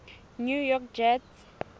new york jets